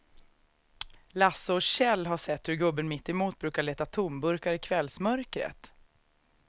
Lasse och Kjell har sett hur gubben mittemot brukar leta tomburkar i kvällsmörkret.